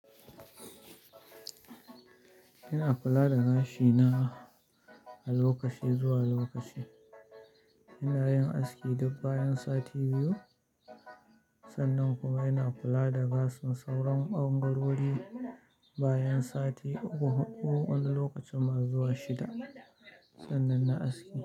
Ina kula da gashi na a lokaci zuwa lokaci. Ina yin aski duk bayan sati biyu, sannan kuma ina kula da gashin sauran bangarori bayan sati uku ko wani lokaci masu zuwa shida. Sannan na aski.